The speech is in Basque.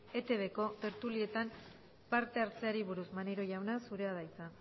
etbko tertulietan parte hartzeari buruz maneiro jauna zurea da hitza